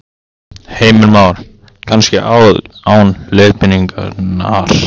Heimir Már: Kannski án leiðbeiningar?